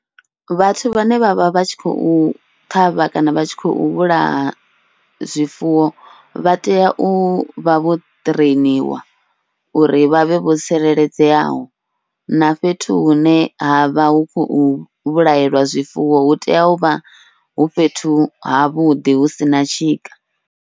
Vhathu vhane vha vha vha tshi khou ṱhavha kana vha tshi khou vhulaha zwifuwo, vha tea uvha vho ṱhireiniwa uri vha vhe vho tsireledzeaho, na fhethu hune havha hu khou vhulahelwa zwifuwo hu tea uvha hu fhethu ha vhuḓi hu sina tshika.